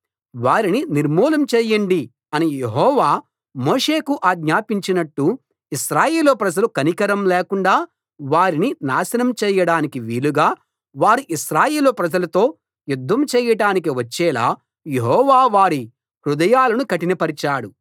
వారిని నిర్మూలం చేయండి అని యెహోవా మోషేకు ఆజ్ఞాపించినట్టు ఇశ్రాయేలు ప్రజలు కనికరం లేకుండా వారిని నాశనం చేయడాని వీలుగా వారు ఇశ్రాయేలు ప్రజలతో యుద్ధం చేయటానికి వచ్చేలా యెహోవా వారి హృదయాలను కఠినపరిచాడు